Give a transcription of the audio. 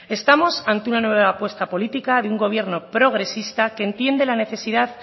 estamos ante una nueva apuesta política de un gobierno progresista que entiende la necesidad